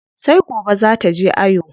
Sai gobe zaa taje ayo.